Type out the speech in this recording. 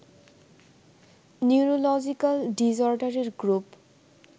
neurological ডিসঅর্ডারের group